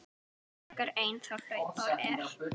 frekar einn þá hlaupár er.